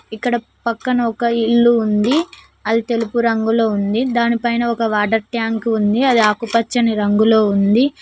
ఇక్కడ పక్కన ఒక ఇల్లు ఉంది అది తెలుపు రంగులో ఉంది దాని పైన ఒక వాటర్ ట్యాంకు ఉంది అది ఆకుపచ్చని రంగులో ఉంది.